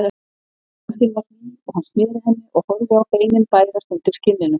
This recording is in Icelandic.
Höndin var hlý og hann sneri henni og horfði á beinin bærast undir skinninu.